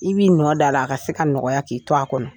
I b'i nɔ da la a ka se ka nɔgɔya k'i to a kɔnɔ.